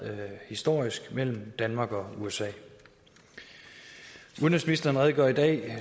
historisk mellem danmark og usa udenrigsministeren redegjorde i dag